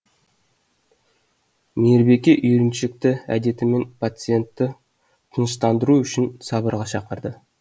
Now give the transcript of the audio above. мейірбике үйреншікті әдетімен пациентті тыныштандыру үшін сабырға шақырды